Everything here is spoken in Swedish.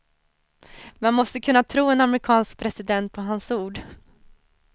Man måste kunna tro en amerikansk president på hans ord.